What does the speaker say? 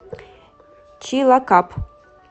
чилакап